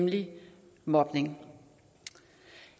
nemlig mobning